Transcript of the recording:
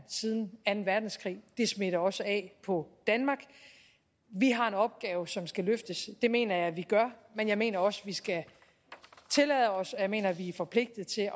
siden anden verdenskrig og det smitter også af på danmark vi har en opgave som skal løftes og det mener jeg vi gør men jeg mener også vi skal tillade os at mener vi forpligtet til